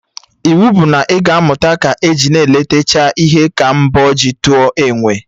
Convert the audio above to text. Iwu bụ na ị ga amụta na ka e letechaa ihe ka m bọọ ji tụọ enwe!